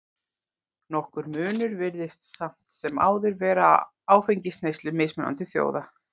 Nokkur munur virðist samt sem áður vera á áfengisneyslu mismunandi þjóða.